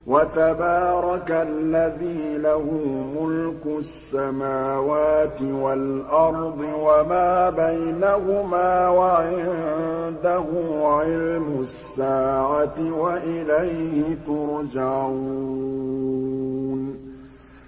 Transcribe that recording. وَتَبَارَكَ الَّذِي لَهُ مُلْكُ السَّمَاوَاتِ وَالْأَرْضِ وَمَا بَيْنَهُمَا وَعِندَهُ عِلْمُ السَّاعَةِ وَإِلَيْهِ تُرْجَعُونَ